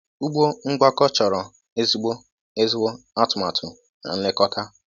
Ugbo ngwakọ chọrọ ezigbo ezigbo atụmatụ na nlekọta.